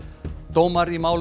dómar í málum